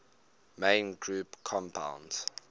main group compounds